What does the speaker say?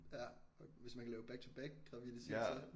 Ja hvis man kan lave back to back graviditet så